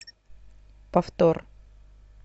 повтор